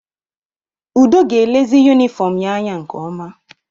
Udo ga-elezi yunifọọm ya anya nke ọma.